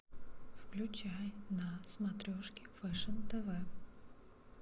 включай на смотрешке фэшн тв